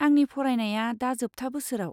आंनि फरायनाया दा जोबथा बोसोराव।